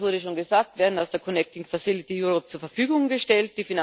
Euro das wurde schon gesagt werden aus der Connecting Europe Facility zur Verfügung gestellt.